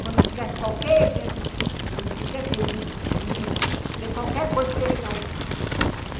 Quando tivesse qualquer evento cívico, não podia ter desfile, ter qualquer coisa que ele não fosse.